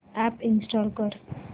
app install कर